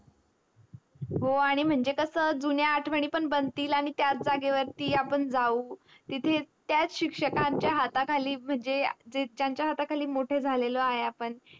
हो आनी म्हणजे कस जुन्या आठवणी बनतील आनी त्याच जागेवर्ती जावू तिथे त्याच सिसिक्ष्कांच्या हाताखाली म्हणजे त्याच्या हाताखाली मोठे झालेलो आहो आपण